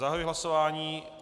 Zahajuji hlasování.